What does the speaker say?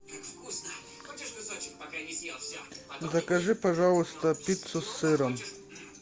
закажи пожалуйста пиццу с сыром